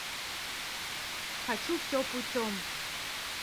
хочу все путем